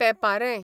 पेंपारें